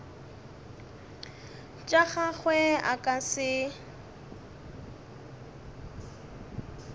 tša gagwe a ka se